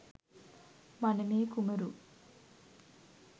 මනමේ කුමරු